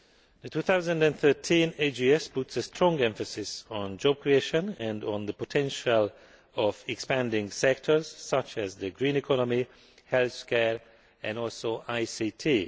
The 2013 AGS puts a strong emphasis on job creation and on the potential of expanding sectors such as the green economy, healthcare and ICT.